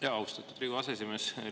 Aitäh, austatud Riigikogu aseesimees!